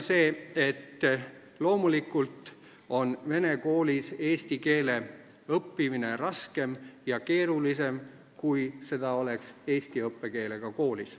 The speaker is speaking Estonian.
Loomulikult on vene koolis eesti keele õppimine raskem ja keerulisem, kui see oleks Eesti õppekeelega koolis.